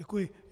Děkuji.